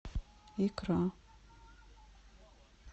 икра